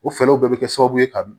O fɛlɛw bɛɛ bɛ kɛ sababu ye ka